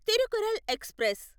Tirukkural express